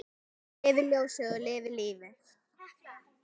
Lifi ljósið og lifi lífið!